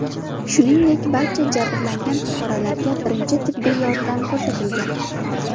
Shuningdek, barcha jabrlangan fuqarolarga birinchi tibbiy yordam ko‘rsatilgan.